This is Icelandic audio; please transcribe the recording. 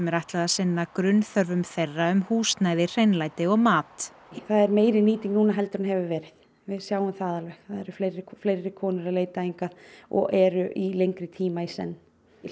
er ætlað að sinna grunnþörfum þeirra um húsnæði hreinlæti og mat það er meiri nýting núna heldur en hefur verið við sjáum það alveg það eru fleiri fleiri konur að leita hingað og eru í lengri tíma í senn